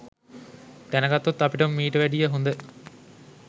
දැනගත්තොත් අපිට මීට වැඩිය හොඳ